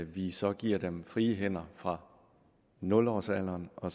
vi så giver dem frie hænder fra nul årsalderen og